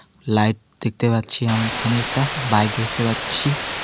Light দেখতে পাচ্ছি আমি এখানে একটা বাইক দেখতে পাচ্ছি.